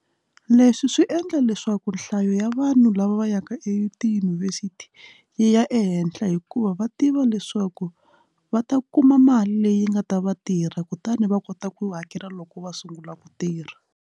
Leswi swi endla leswaku nhlayo ya vanhu lava va yaka e tiyunivhesiti yi ya ehenhla hikuva va tiva leswaku va ta kuma mali leyi nga ta va tirha kutani va kota ku hakela loko va sungula ku tirha.